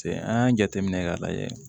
Se an y'a jateminɛ k'a lajɛ